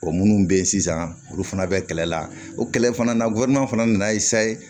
minnu bɛ yen sisan olu fana bɛ kɛlɛ la o kɛlɛ fana na fana nan'a ye sa ye